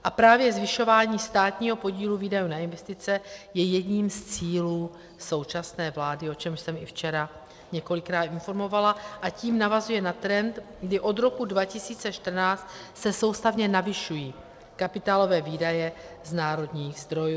A právě zvyšování státního podílu výdajů na investice je jedním z cílů současné vlády, o čemž jsem i včera několikrát informovala, a tím navazuje na trend, kdy od roku 2014 se soustavně navyšují kapitálové výdaje z národních zdrojů.